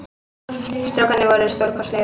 Strákarnir voru stórkostlegir